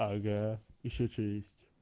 ага ещё через